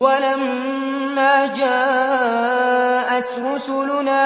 وَلَمَّا جَاءَتْ رُسُلُنَا